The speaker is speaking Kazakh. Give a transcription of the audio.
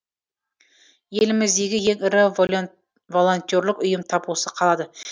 еліміздегі ең ірі волентерлік ұйым тап осы қалада